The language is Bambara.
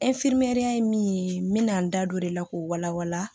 ye min ye n bɛna n da don o de la k'o wala wala